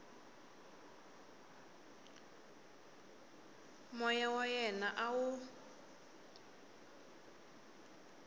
moya wa yena a wu